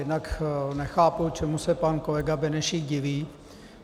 Jednak nechápu, čemu se pan kolega Benešík diví.